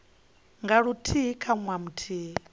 nga luthihi kha ṅwaha muthihi